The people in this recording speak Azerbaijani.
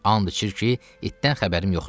And içir ki, itdən xəbərim yoxdur.